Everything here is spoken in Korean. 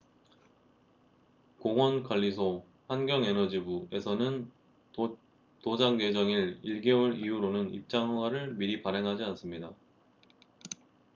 공원 관리소환경 에너지부에서는 도작 예정일 1개월 이후로는 입장 허가를 미리 발행하지 않습니다